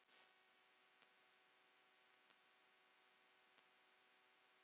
En hvað stendur til bóta?